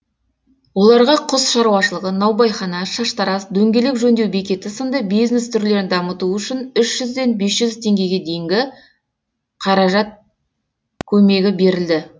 оларға құс шаруашылығы наубайхана шаштараз дөңгелек жөндеу бекеті сынды бизнес түрлерін дамыту үшін үш жүзден бес жүз теңгеге дейінгі қаражат көмегі берілді